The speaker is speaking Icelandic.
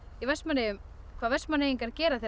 í Vestmannaeyjum hvað Vestmannaeyingar gera þegar